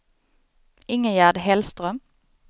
Ingegerd Hellström